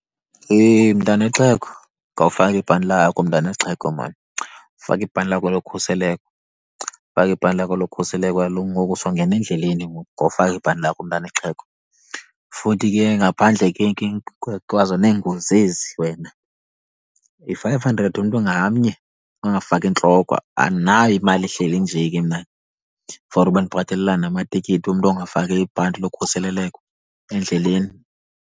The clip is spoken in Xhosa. Yhe mntana wexhego, khawufake ibhanti lakho mntana wexhego mani. Faka ibhanti lakho lokhuseleko, faka ibhanti lakho lokhuseleko. Kaloku ngoku songena endleleni, ngoku ngofaka ibhanti lakho mntana wexhego. Futhi ke ngaphandle ke kwazo neengozi ezi wena, yi-five hundred umntu ngamnye ongafaki intloko. Andinayo imali ehleli nje ke mna for uba ndibhatalelana namatikiti womntu ongafaki ibhanti yokhuseleleko endleleni.